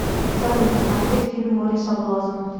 салют смотреть фильм море соблазна